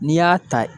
N'i y'a ta